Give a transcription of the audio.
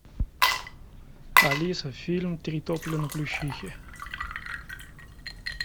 алиса фильм три тополя на плющихе